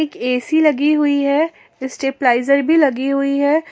AC लगी हुई है स्टेबलाइजर भी लगी हुई है।